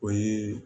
O ye